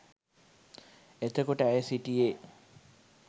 එතකොට ඇය සිටියේ